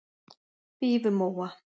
Fífumóa